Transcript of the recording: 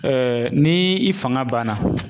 ni i fanga banna